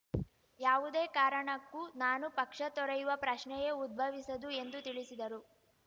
ಯಾವುದೇ ಕಾರಣಕ್ಕೂ ನಾನು ಪಕ್ಷ ತೊರೆಯುವ ಪ್ರಶ್ನೆಯೇ ಉದ್ಭವಿಸದು ಎಂದು ತಿಳಿಸಿದರು